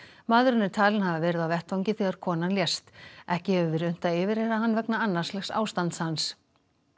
maðurinn er talinn hafa verið á vettvangi þegar konan lést ekki hefur verið unnt að yfirheyra hann vegna ástands hans